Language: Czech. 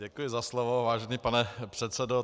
Děkuji za slovo, vážený pane předsedo.